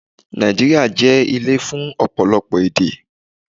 Nàìjíríà jẹ́ ilé fún ọ̀pọ̀lọpọ̀ èdè